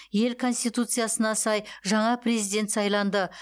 ел конституциясына сай жаңа президент сайланды